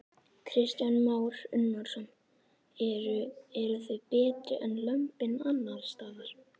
Kristján Már Unnarsson: Eru, eru þau betri en lömbin annarsstaðar?